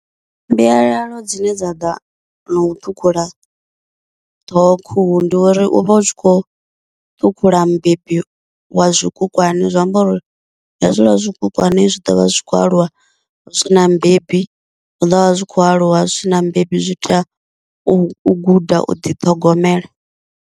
Mbuyalalo dzine dza ḓa no u ṱhukhula ṱhoho khuhu, ndi uri u vha u tshi khou ṱhukhula mubebi wa zwikukwana, zwa amba uri hezwiḽa zwikukwana zwi ḓovha zwi kho aluwa hu si na mubebi, zwi ḓo vha zwi khou aluwa zwi sina mubebi zwi tea u guda u ḓiṱhogomela.